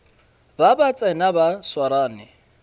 ba ba tsena ba swarane